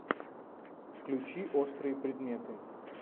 включи острые предметы